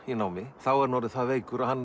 í námi er hann orðinn það veikur að hann